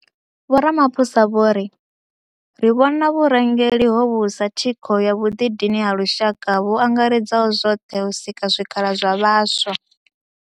Vho Ramaphosa vho ri ri vhona vhurangeli hovhu sa thikho ya vhuḓidini ha lushaka vhu angaredzaho zwoṱhe u sika zwikhala zwa vhaswa.